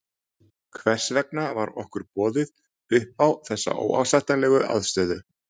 Hvers vegna var okkur boðið upp á þessa óásættanlegu aðstöðu?